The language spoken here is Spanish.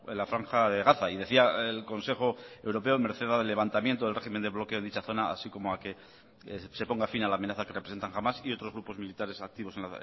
la franja de gaza y decía el consejo europeo en merced al levantamiento del régimen de bloqueo en dicha zona así como que se ponga fin a la amenaza que representan hamás y otros grupos militares activos